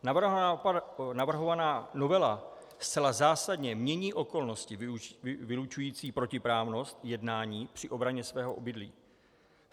Navrhovaná novela zcela zásadně mění okolnosti vylučující protiprávnost jednání při obraně svého obydlí.